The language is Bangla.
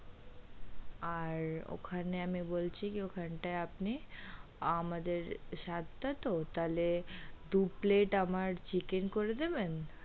আর ওখানে আমি বলছি কি ওই খান টা, আপনি আমাদের সাত টা তো তাহলে, দু plate আমার chicken করে দেবেন।